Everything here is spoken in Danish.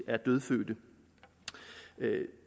er dødfødte